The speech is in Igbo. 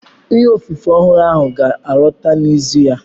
Ìhe ofufe ọhụrụ ahụ ga alọta n'izu a